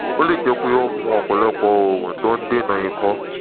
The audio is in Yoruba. ó lè jẹ́ pé o mu ọ̀pọ̀lọpọ̀ oògùn tó ń dènà ikọ́